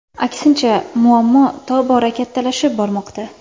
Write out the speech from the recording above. Aksincha, muammo tobora kattalashib bormoqda.